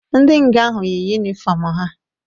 Ndi nga ahụ yị ụnifọm ha